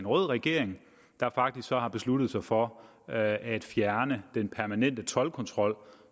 rød regering der faktisk har besluttet sig for at fjerne den permanente toldkontrol